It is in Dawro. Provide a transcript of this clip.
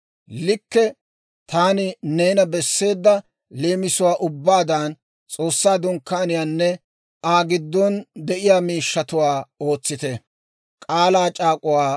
Likke taani neena besseedda leemisuwaa ubbaadan S'oossaa Dunkkaaniyaanne Aa giddon de'iyaa miishshatuwaa ootsite.